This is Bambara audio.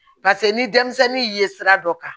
Paseke ni denmisɛnnin ye sira dɔ kan